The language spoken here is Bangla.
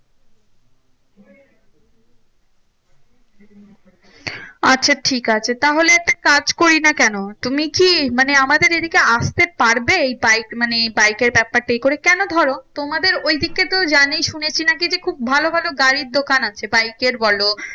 আচ্ছা ঠিক আছে। তাহলে এক কাজ করি না কেন তুমি কি মানে আমাদের এদিকে আসতে পারবে? বাইক মানে বাইকের ব্যাপারটা ই করে। কেন ধরো তোমাদের ঐদিকে তো জানি শুনেছি নাকি যে, খুব ভালো ভালো গাড়ির দোকান আছে বাইকের বলো